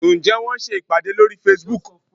Ǹjẹ́ wọ́n ń ṣe ìpàdé lórí Facebook?